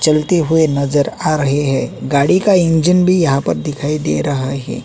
चलते हुए नजर आ रहे हैं गाड़ी का इंजन भी यहां पर दिखाई दे रहा है।